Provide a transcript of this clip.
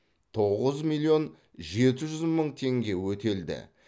тоғыз миллион жеті жүз мың теңге өтелді